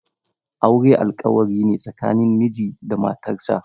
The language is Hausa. Aure alƙawarine tsakanin miji da matarsa.